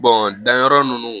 danyɔrɔ ninnu